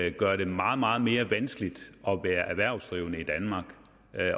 ikke gør det meget meget mere vanskeligt at være erhvervsdrivende i danmark